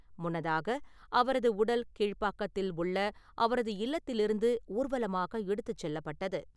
முன்னதாக அவரது உடல் கீழ்ப்பாக்கத்தில் உள்ள அவரது இல்லத்திலிருந்து ஊர்வலமாக எடுத்துச் செல்லப்பட்டது .